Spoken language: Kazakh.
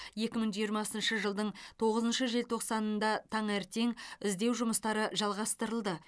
екі мың жиырмасыншы жылдың тоғызыншы желтоқсанында таңертең іздеу жұмыстары жалғастырылды